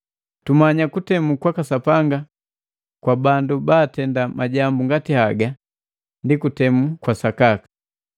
Tumanya kutemu kwaka Sapanga kwa bandu baatenda majambu ngati haga ndi kutemu kwa sakaka.